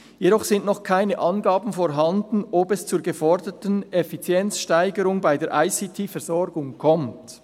Jedoch sind noch keine Angaben vorhanden, ob es zur geforderten Effizienzsteigerung bei der ICT-Versorgung kommt.